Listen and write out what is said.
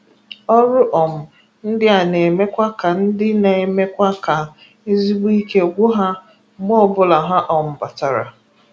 Ọrụ um ndịa na-emekwa ka ndịa na-emekwa ka ezigbo ike gwụ ha mgbe ọbụla ha um batara.